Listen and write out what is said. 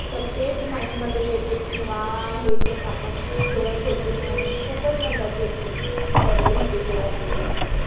तेच mind मध्ये येते कि वाह! हे game आपण खेळत होते. अन खुपचं मज्जा केली करली होती तेव्हा time ला.